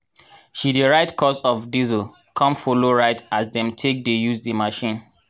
she dey write cost of diesel con follow write as dem take dey use di machine.